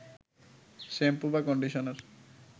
shampoo বা conditioner